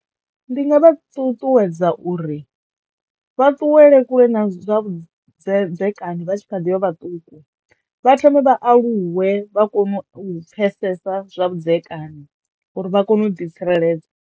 Ndi nga vha ṱuṱuwedza uri vha ṱuwele kule na zwavhudzedzekani vha tshi kha ḓi vha vhaṱuku vha thome vha aluwe vha kone u pfesesa zwa vhudzekani uri vha kono u ḓi tsireledza.